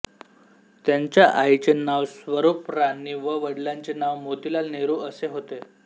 त्यांच्या आईचे नाव स्वरूपराणी व वडिलांचे नाव मोतीलाल नेहरू असे होते